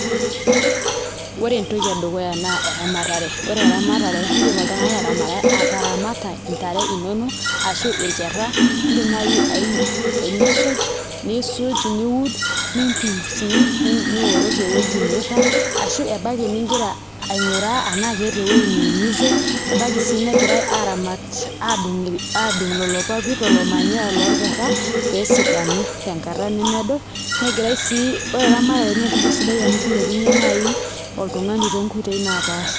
Ore entoki edukuya naa eramatare, ore eramatare iindim oltung'ani aataramata ntare inonok ashu nkera iidim naai enisuj, nisuj niud niipim sii nioroki ewuei niirag ashu ebaiki nigira aing'uraa enaa keeta ewuei niumise ebaiki sii negirai araamat aadung' lelo papit lelo manyoya lorkerra pee esidanu tenkata nemeedo negirai sii, ore naai ena naa entoki sidai amu kilepunyie oltung'ani tonkoitoi naapaasha.